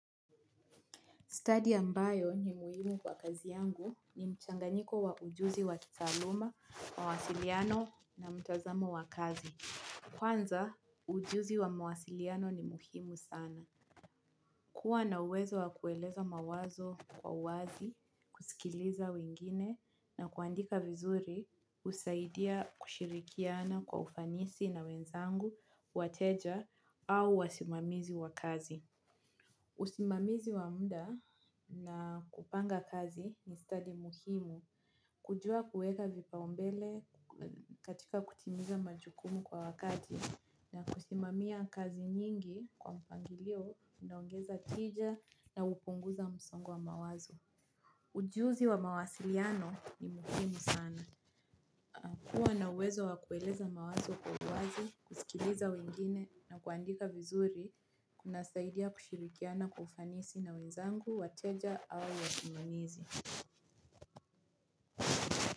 Stadi ambayo ni muhimu kwa kazi yangu ni mchanganyiko wa ujuzi wa kitaaluma, mawasiliano na mtazamo wa kazi. Kwanza, ujuzi wa mawasiliano ni muhimu sana. Kuwa na uwezo wa kueleza mawazo kwa uwazi, kusikiliza wengine na kuandika vizuri husaidia kushirikiana kwa ufanisi na wenzangu, wateja au wasimamizi wa kazi. Usimamizi wa muda na kupanga kazi ni stadi muhimu. Kujua kuweka vipaumbele katika kutimiza majukumu kwa wakati na kusimamia kazi nyingi kwa mpangilio unaongeza tija na hupunguza msongo wa mawazo. Ujuzi wa mawasiliano ni muhimu sana. Kuwa na wezo wa kueleza mawazo kwa uwazi, kusikiliza wengine na kuandika vizuri kunasaidia kushirikiana kwa ufanisi na wenzangu, wateja au wasimamizi.